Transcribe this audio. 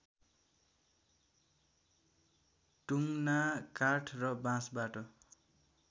टुङ्ना काठ र बाँसबाट